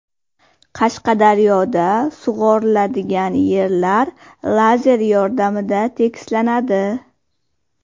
Qashqadaryoda sug‘oriladigan yerlar lazer yordamida tekislanadi.